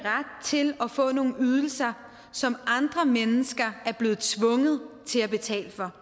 til at få nogle ydelser som andre mennesker er blevet tvunget til at betale for